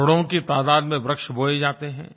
करोड़ों की तादात में पौधे लगाये जाते हैं